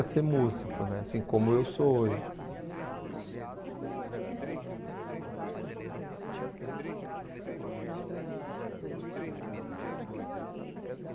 ser músico né , assim como eu sou hoje. Eu gostaria um pouquinho só, eh assim, você disse no começo da entrevista que você trabalha com quatorze anos numa na no ministério do